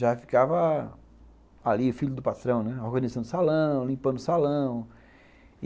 Já ficava ali o filho do patrão organizando o salão, limpando o salão.